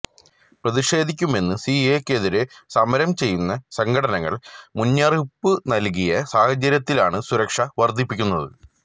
പ്രതിഷേധിക്കുമെന്ന് സിഎഎക്കെതിരെ സമരം ചെയ്യുന്ന സംഘടനകൾ മുന്നറിയിപ്പ് നൽകിയ സാഹചര്യത്തിലാണ് സുരക്ഷ വർധിപ്പിക്കുന്നത്